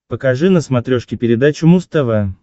покажи на смотрешке передачу муз тв